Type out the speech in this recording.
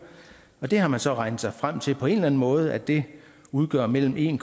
og der har man så regnet sig frem til på en eller anden måde at det udgør mellem en